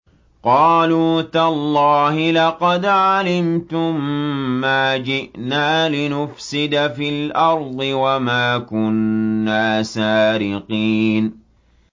قَالُوا تَاللَّهِ لَقَدْ عَلِمْتُم مَّا جِئْنَا لِنُفْسِدَ فِي الْأَرْضِ وَمَا كُنَّا سَارِقِينَ